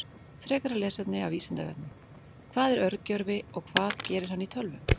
Frekara lesefni af Vísindavefnum: Hvað er örgjörvi og hvað gerir hann í tölvum?